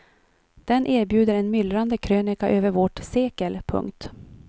Den erbjuder en myllrande krönika över vårt sekel. punkt